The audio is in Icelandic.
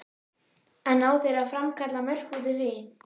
En ná þeir að framkalla mörk út úr því?